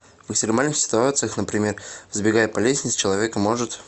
в экстремальных ситуациях например взбегая по лестнице человек может